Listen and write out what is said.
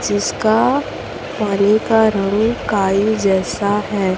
जिसका पानी का रंग काई जैसा है।